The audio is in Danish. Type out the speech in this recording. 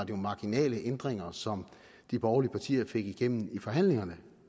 jo marginale ændringer som de borgerlige partier fik igennem i forhandlingerne